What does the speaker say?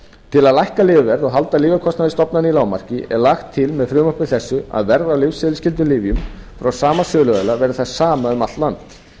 til þess að lækka lyfjaverð og halda lyfjakostnaði stofnana í lágmarki er lagt til með frumvarpi þessu að verð á lyfseðilsskyldum lyfjum frá sama söluaðila verði það sama um allt land